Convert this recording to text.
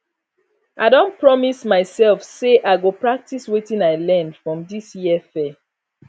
i don promise myself say i go practice wetin i learn for this year fair